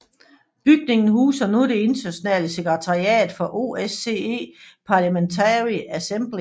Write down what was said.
Bygningen huser nu det internationale sekretariat for OSCE Parliamentary Assembly